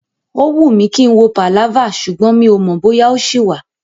Ó wùn mí kí n wo pàláfà ṣùgbọ́n mi ò mọ̀ bóyá ó ṣì wà.